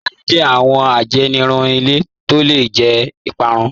Àyàn jẹ́ awọn àjẹnìrún ilẹ̀ tó lẹ̀ jẹ́ ìpárún.